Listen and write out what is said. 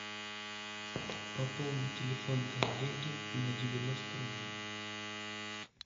пополнить телефон коллеги на девяносто рублей